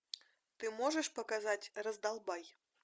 ты можешь показать раздолбай